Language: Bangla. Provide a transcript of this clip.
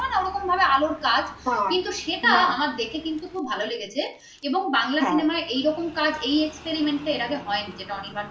তখন মানে আলোর কাজ কিন্তু সেটা আমার হ্যাঁ দেখতে কিন্তু খুব ভালো লেগেছে এবং বাংলা cinema এরকম কাজ এই experiment হয়নি যেটা যেটা অনির্বাণ করেছে